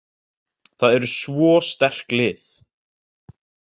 Það eru svo sterk lið.